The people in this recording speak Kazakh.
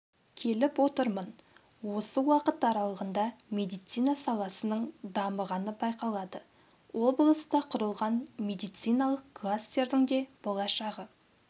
келіп отырмын осы уақыт аралығында медицина саласының дамығаны байқалады облыста құрылған медициналық кластердің де болашағы